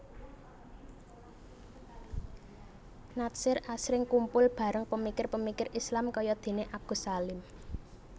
Natsir asring kumpul bareng pemikir pemikir Islam kayadeneAgus Salim